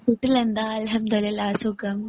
വീട്ടിലെന്താ അൽഹംദുലില്ലാ സുഖം.